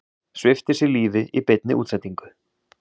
Svipti sig lífi í beinni útsendingu